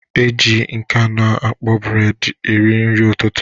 E ji nke a na-akpọ bred eri nri ụtụtụ.